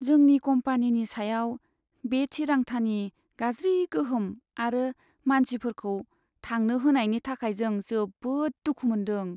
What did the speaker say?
जोंनि कम्पानिनि सायाव बे थिरांथानि गाज्रि गोहोम आरो मानसिफोरखौ थांनो होनायनि थाखाय आं जोबोद दुखु मोन्दों।